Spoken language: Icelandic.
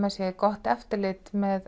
það sé gott eftirlit með